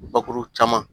Bakuru caman